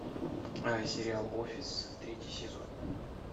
сериал офис третий сезон